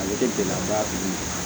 Ale bɛ gɛlɛyaba tigi